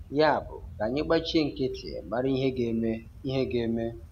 Yabụ, ka anyị gbachie nkịtị mara ihe ga-eme. ihe ga-eme.